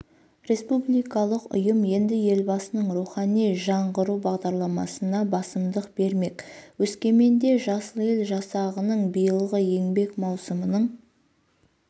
республикалық ұйым енді елбасының рухани жаңғыру бағдарламасына басымдық бермек өскеменде жасыл ел жасағының биылғы еңбек маусымының